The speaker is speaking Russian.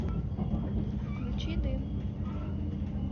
включи дым